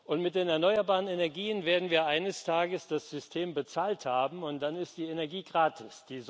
Und mit den erneuerbaren Energien werden wir eines Tages das System bezahlt haben, und dann ist die Energie gratis.